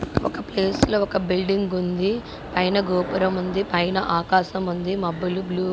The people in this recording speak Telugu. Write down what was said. ఒక ప్లేస్ లో ఒక బిల్డింగ్ ఉంది. పైన గోపురం ఉంది.పైన ఆకాశం ఉంది.మబ్బులు బ్లూ --